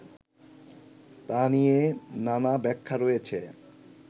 তা নিয়ে নানা ব্যাখ্যা রয়েছে